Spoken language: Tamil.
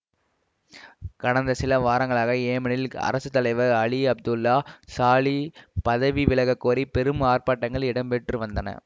கடந்த சில வாரங்களாக ஏமனில் அரசு தலைவர் அலி அப்துல்லா சாலி பதவி விலகக்கோரி பெரும் ஆர்ப்பாட்டங்கள் இடம்பெற்று வந்தன